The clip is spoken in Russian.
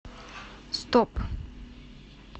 стоп